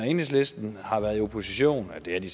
enhedslisten har været i opposition og det er de